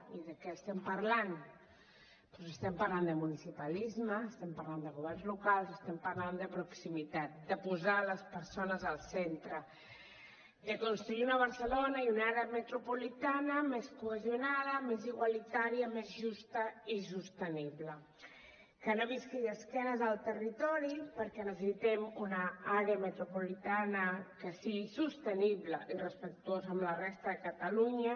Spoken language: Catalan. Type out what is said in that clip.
i de què parlem doncs parlem de municipalisme parla de governs locals estem parlant de proximitat de posar les persones al centre de construir una barcelona i una àrea metropolitana més cohesionada més igualitària més justa i sostenible que no visqui d’esquena al territori perquè necessitem una àrea metropolitana que sigui sostenible i respectuosa amb la resta de catalunya